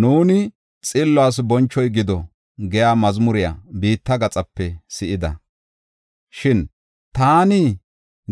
Nuuni, “Xilluwas bonchoy gido” giya mazmure biitta gaxape si7ida. Shin, “Taani